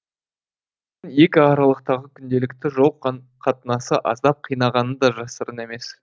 екі аралықтағы күнделікті жол қатынасы аздап қинағаны да жасырын емес